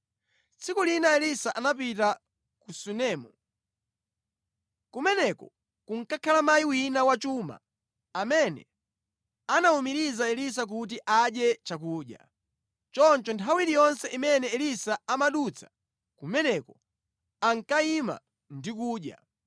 Tsiku lina Elisa anapita ku Sunemu. Kumeneko kunkakhala mayi wina wachuma amene anawumiriza Elisa kuti adye chakudya. Choncho nthawi iliyonse imene Elisa amadutsa kumeneko, ankayima ndi kudya.